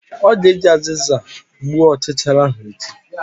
Ọ ga-eji azịza gbuo ọchichara ahụ echi!